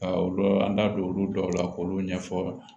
Ka olu an da don olu dɔw la k'olu ɲɛfɔ